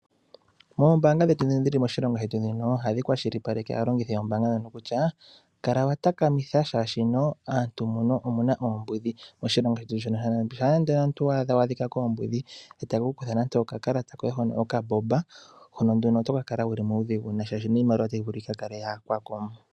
Moombanga dhetu dhino dhili moshilongo shetu dhino. Ohadhi kwashilipaleke aalongithi yombanga dhono kutya kala wa takamitha shashino aantu muno omuna oombudhi. Oshilongo shetu shino shampa ndee omuntu wa adhika koombudhi etadhi ku kutha nande oka kalata koye hono okambomba hono nduno toka kala wuli muudhigu nayi sha shino iimaliwa otayi vulu yika kale ya yakwako.